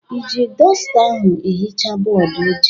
Ị ji dọsta ahụ ehicha bọọdụ ojii?